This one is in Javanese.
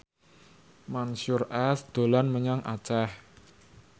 Mansyur S dolan menyang Aceh